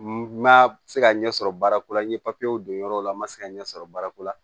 N ma se ka ɲɛ sɔrɔ baara ko la n ye don yɔrɔ o la n ma se ka ɲɛ sɔrɔ baara ko la